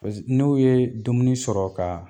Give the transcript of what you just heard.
Pas n'u yee dumuni sɔrɔ kaa